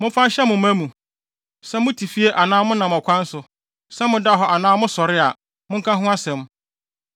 Momfa nhyɛ mo mma mu. Sɛ mote fie anaa monam ɔkwan so, sɛ moda hɔ anaa mosɔre a, monka ho asɛm.